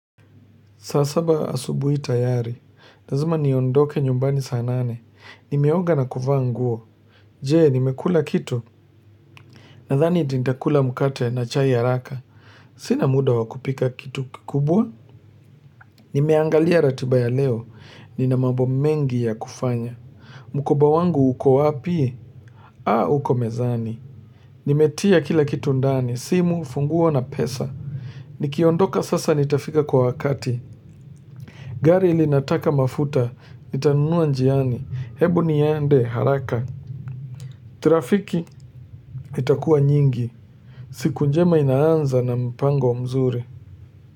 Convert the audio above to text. Sasaba asubuhi tayari, nazima niondoke nyumbani saa nane, nimeoga na kufa nguo, jee nimekula kitu, nadhani iti ndakula mukate na chai haraka, sina muda wa kupika kitu kikubwa, nimeangalia ratiba ya leo, nina mambo mengi ya kufanya, mukoba wangu uko wapi, aa uko mezani, nimetia kila kitu ndani, simu, funguo na pesa, nikiondoka sasa nitafika kwa wakati, gari linataka mafuta, nitanunua njiani, hebu ni yende, haraka. Trafiki itakua nyingi, siku njema inaanza na mpango mzuri.